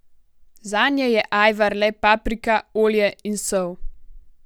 Zanje je ajvar le paprika, olje in sol.